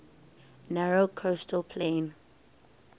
narrow coastal plain